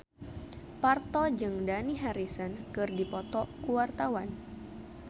Parto jeung Dani Harrison keur dipoto ku wartawan